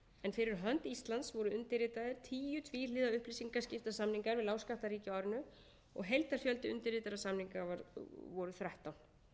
fyrir hönd íslands voru undirritaðir tíu tvíhliða upplýsingaskiptasamningar við lágskattaríki á árinu og heildarfjöldi undirritaðra samninga var þrettán